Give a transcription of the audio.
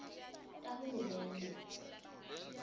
tahulumende